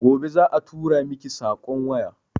Gobe za a turamiki sakon waya